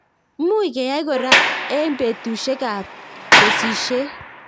Much keyai korai eng' petushek ab kesishet